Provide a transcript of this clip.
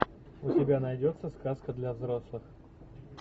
у тебя найдется сказка для взрослых